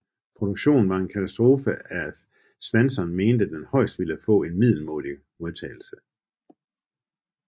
Produktionen var en katastrofe of Swanson mente den højst ville få en middelmådig modtagelse